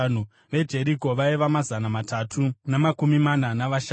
veJeriko vaiva mazana matatu namakumi mana navashanu;